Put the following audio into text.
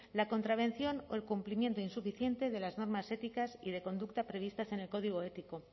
la contravención o el cumplimiento insuficiente de las normas éticas y de conducta previstas en el código ético